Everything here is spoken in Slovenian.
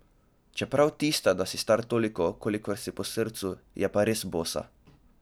Čeprav tista, da si star toliko, kolikor si po srcu, je pa res bosa.